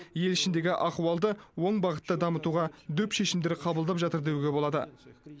ел ішіндегі ахуалды оң бағытта дамытуға дөп шешімдер қабылдап жатыр деуге болады